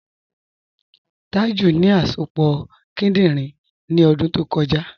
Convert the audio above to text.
Tàjú ní àsọpọ̀ kìdìnrín ní ọ̀dún tó kọ̀jà.